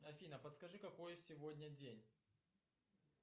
афина подскажи какой сегодня день